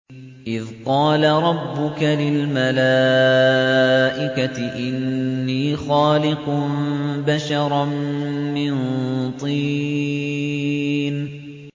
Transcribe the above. إِذْ قَالَ رَبُّكَ لِلْمَلَائِكَةِ إِنِّي خَالِقٌ بَشَرًا مِّن طِينٍ